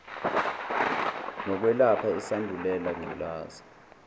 nokwelapha isandulela ngculaza